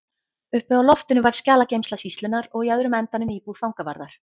Uppi á loftinu var skjalageymsla sýslunnar og í öðrum endanum íbúð fangavarðar.